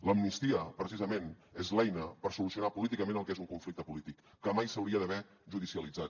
l’amnistia precisament és l’eina per solucionar políticament el que és un conflicte polític que mai s’hauria d’haver judicialitzat